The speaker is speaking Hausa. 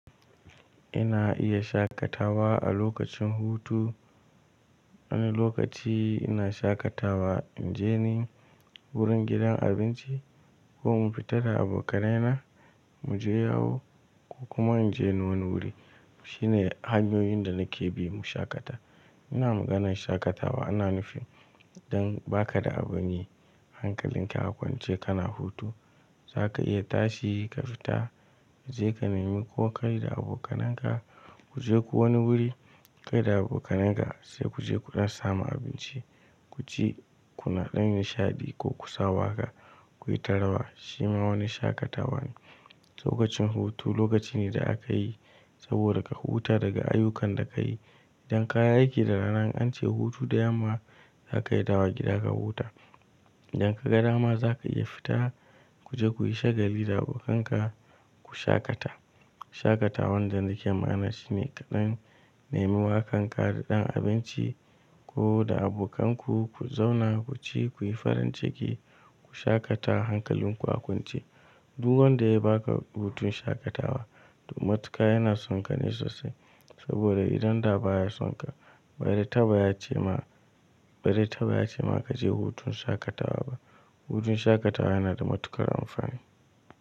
Ina iya shaƙatawa a lokacin hutu. Wani lokaci ina shaƙatawa, in je ni, wurin gidan abinci, ko mu fita da abokanai na mu je yawo, ko kuma in je ni wani wuri. Shi ne hanyoyin da nake bi mu shaƙata. Ina maganar shaƙatawa ina nufin, dan ba ka da abun yi, hankalin ka kwance kana hutu, za ka iya tashi ka fita, je ka nemi ko kai da abokananka, ku je ku wani wuri, kai da abokananka, sai ku je ku ɗan samu abinci, ku ci, ku na ɗan nishaɗi, ko ku sa waƙa, ku yi ta rawa. Shi ma wani shaƙatawa ne. Lokacin hutu lokaci ne da aka yi, saboda ka huta daga ayyukan da ka yi. Idan ka yi aiki da rana in an ce hutu da yamma, za ka iya dawowa gida ka huta. Idan ka ga dama za ka iya fita, ku je ku yi shagali da abokanka, ku shaƙata. Shaƙatawan da nake magana shi ne, ka ɗan nemi wa kanka da ɗan abinci, ko da abokanku, ku zauna ku ci, ku yi farin ciki, ku shaƙata hankalin ku a kwance. Du wanda ya ba ka hutun shaƙatawa, to matuka yana son ka ne sosai. Saboda idan da ba ya son ka, ba ze taba ya ce ma, baze taba ya ce ma ka je hutun shaƙatawa ba. Hutun shaƙatawa yana da matuƙar amfani.